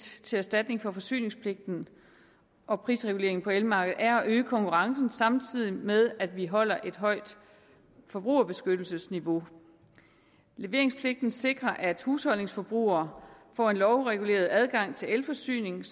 til erstatning for forsyningspligten og prisreguleringen på elmarkedet er at øge konkurrencen samtidig med at vi holder et højt forbrugerbeskyttelsesniveau leveringspligten sikrer at husholdningsforbrugere får en lovreguleret adgang til elforsyning